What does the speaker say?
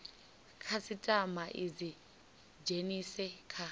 khasitama i dzi dzhenise kha